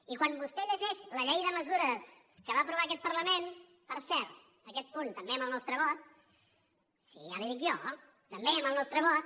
i quan vostè llegeix la llei de mesures que va aprovar aquest parlament per cert aquest punt també amb el nostre vot sí ja li ho dic jo també amb el nostre vot